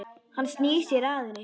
Hann snýr sér að henni.